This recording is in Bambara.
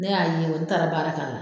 Ne y'a ye n taara baara k'a la.